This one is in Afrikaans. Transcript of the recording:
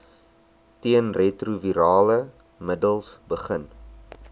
teenretrovirale middels begin